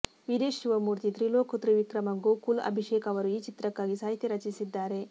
ವೀರೇಶ್ ಶಿವಮೂರ್ತಿ ತ್ರಿಲೋಕ್ ತ್ರಿವಿಕ್ರಮ ಗೋಕುಲ್ ಅಭಿಷೇಕ ಅವರು ಈ ಚಿತ್ರಕ್ಕಾಗಿ ಸಾಹಿತ್ಯ ರಚಿಸಿದ್ದಾರೆ